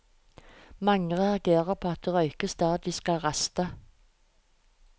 Mange reagerer på at det røykes der de skal raste.